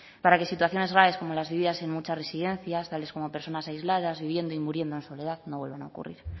para que situaciones graves como las vividas en muchas residencias tales como personas aisladas viviendo y muriendo en soledad no vuelvan a ocurrir